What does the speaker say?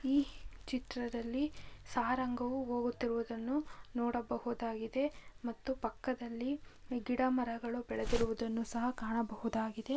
ಈ ಚಿತ್ರದಲ್ಲಿ ಸಾಂರಾಗವೂ ಹೋಗುತ್ತಿರುವುದನ್ನು ನೋಡಬಹುದಾಗಿದೆ ಮತ್ತು ಪಕ್ಕದಲ್ಲಿ ಗಿಡ ಮರಗಳು ಬೆಳೆದಿರುವುದನ್ನು ಸಹ ಕಾಣಬಹುದಾಗಿದೆ.